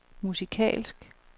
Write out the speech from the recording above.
musikalsk